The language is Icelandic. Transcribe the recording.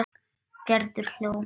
Gerður hló.